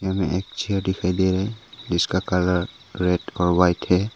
में एक चेयर दिखाई दे रहा है जिसका कलर रेड और वाइट है।